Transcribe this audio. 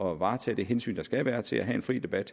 varetage det hensyn der skal være til at have en fri debat